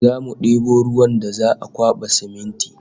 Zamu debo ruwan da za'a kwaba siminti